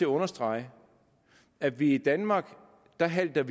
understrege at vi i danmark halter